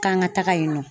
K'an ka taga yen nɔ